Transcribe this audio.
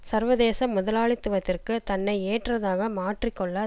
சர்வதேச முதலாளித்துவத்திற்கு தன்னை ஏற்றதாக மாற்றி கொள்ள